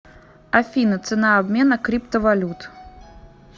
афина цена обмена криптовалют